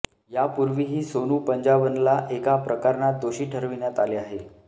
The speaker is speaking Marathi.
यापूर्वीही सोनू पंजाबनला एका प्रकरणात दोषी ठरविण्यात आले आहे